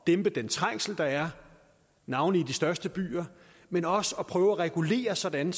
dæmpe den trængsel der er navnlig i de største byer men også at prøve at regulere sådan